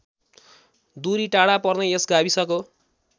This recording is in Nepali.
दुरी टाढा पर्ने यस गाविसको